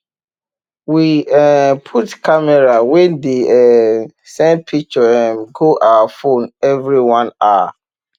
we um put camera wey dey um send picture um go our phone every one hour